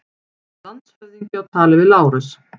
Landshöfðingi á tali við Lárus.